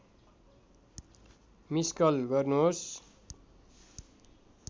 miss call गर्नुहोस्